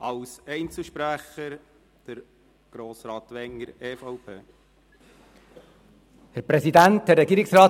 Als Einzelsprecher erhält Grossrat Wenger, EVP, das Wort.